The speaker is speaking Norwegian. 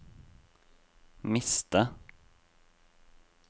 miste